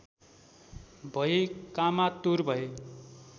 भई कामातुर भए